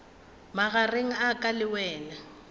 magareng a ka le wena